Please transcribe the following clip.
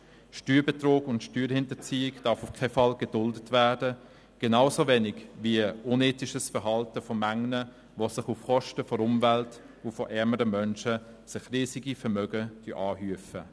Steuerbetrug und Steuerhinterziehung dürfen auf keinen Fall geduldet werden, genauso wenig wie unethisches Verhalten von manchen Personen, die sich auf Kosten der Umwelt und von ärmeren Menschen riesige Vermögen anhäufen.